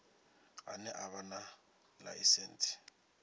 ane a vha na ḽaisentsi